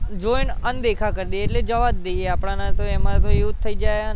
join અનદેખા કરી દઈએ એટલે જવા જ દઈએ આપણાને તો એમાં તો એવું જ થઇ જાય ને